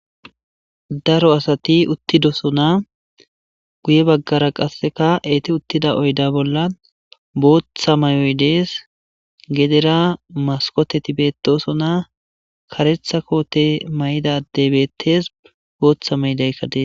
daro asati uttidosona guye baggara qasseka eeti uttida oyda bolla booththa mayoy dees gedera maskoteti beetosona karetha koote mayida adey bettees booththa maydaykka dees